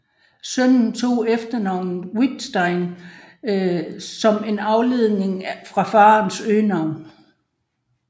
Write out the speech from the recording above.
Sønnen tog efternavnet Viðstein som en afledning fra farens øgenavn